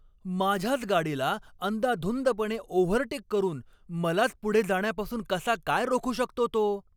माझ्याच गाडीला अंदाधुंदपणे ओव्हरटेक करून मलाच पुढे जाण्यापासून कसा काय रोखू शकतो तो?